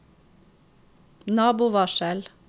nabovarsel